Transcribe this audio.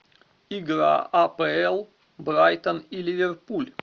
игра апл брайтон и ливерпуль